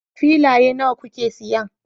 Filaye nawa kuke siyan